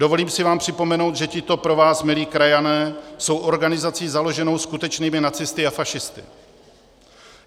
Dovolím si vám připomenout, že tito pro vás milí krajané jsou organizací založenou skutečnými nacisty a fašisty.